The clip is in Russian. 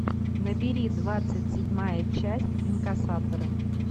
набери двадцать седьмая часть инкассаторы